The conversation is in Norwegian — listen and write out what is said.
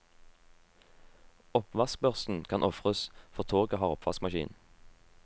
Oppvaskbørsten kan ofres, for toget har oppvaskmaskin.